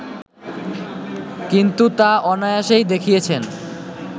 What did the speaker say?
কিন্তু তা অনায়াসেই দেখিয়েছেন